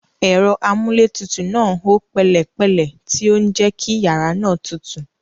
Ẹ̀rọ amúlétutù náà ń hó pẹ̀lẹ́pẹ̀lẹ́, tí ó ń jẹ́ kí yàrá náà tutù.